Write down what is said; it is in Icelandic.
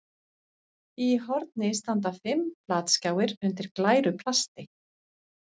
Í horni standa fimm flatskjáir undir glæru plasti.